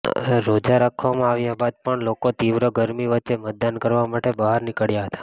રોજા રાખવામાં આવ્યા બાદ પણ લોકો તીવ્ર ગરમી વચ્ચે મતદાન કરવા માટે બહાર નીકળ્યા હતા